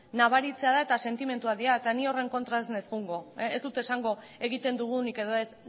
nabaritzea da eta sentimenduak dira eta ni horren kontra ez naiz joango ez dut esango egiten dugunik edo ez